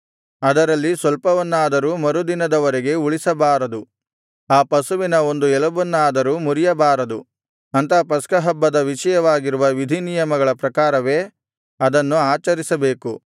ಅದರಲ್ಲಿ ಸ್ವಲ್ಪವನ್ನಾದರೂ ಮರುದಿನದವರೆಗೆ ಉಳಿಸಬಾರದು ಆ ಪಶುವಿನ ಒಂದು ಎಲುಬನ್ನಾದರೂ ಮುರಿಯಬಾರದು ಅಂತೂ ಪಸ್ಕಹಬ್ಬದ ವಿಷಯವಾಗಿರುವ ವಿಧಿನಿಯಮಗಳ ಪ್ರಕಾರವೇ ಅದನ್ನು ಆಚರಿಸಬೇಕು